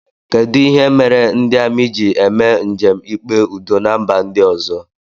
Kedụ ihe mere ndị amị ji eme njem ikpe udo na mba ndị ọzọ?